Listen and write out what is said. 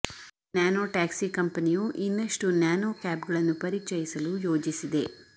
nano taxi ಕಂಪನಿಯು ಇನ್ನಷ್ಟು nano ಕ್ಯಾಬ್ ಗಳನ್ನು ಪರಿಚಯಿಸಲು ಯೋಜಿಸಿದೆ